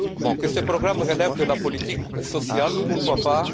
Que ce programme relève de la politique sociale, pourquoi pas?